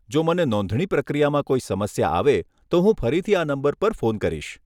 જો મને નોંધણી પ્રક્રિયામાં કોઈ સમસ્યા આવે, તો હું ફરીથી આ નંબર પર ફોન કરીશ.